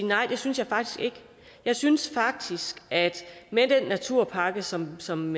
nej det synes jeg faktisk ikke jeg synes faktisk at med den naturpakke som som